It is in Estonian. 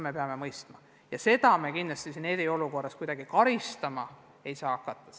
Me peame seda mõistma ja seda me eriolukorras karistama ei saa hakata.